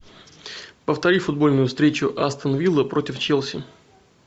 повтори футбольную встречу астон вилла против челси